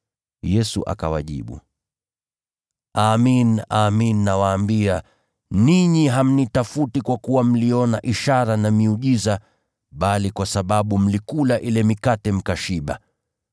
Yesu akawajibu, “Amin, amin nawaambia, ninyi hamnitafuti kwa kuwa mliona ishara na miujiza, bali kwa sababu mlikula ile mikate mkashiba.